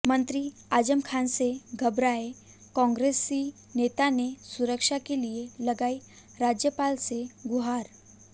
मंत्री आजम खान से घबराए कांग्रेसी नेता ने सुरक्षा के लिए लगाई राज्यपाल से गुहार